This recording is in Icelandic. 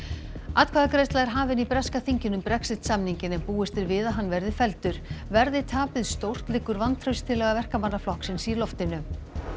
atkvæðagreiðsla er hafin í breska þinginu um Brexit samninginn en búist er við að hann verði felldur verði tapið stórt liggur vantrauststillaga Verkamannaflokksins í loftinu